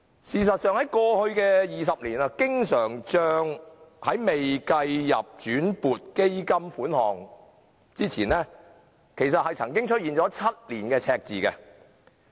事實上，在過去的20年，經常帳在未計入轉撥基金款項內之前，曾經出現7年赤字。